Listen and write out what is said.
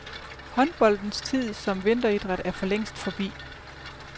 Håndboldens tid som vinteridræt er forlængst forbi.